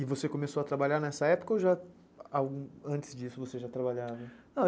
E você começou a trabalhar nessa época ou antes disso você já trabalhava?